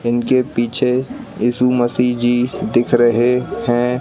इनके पीछे यीशु मसीह जी दिख रहे हैं।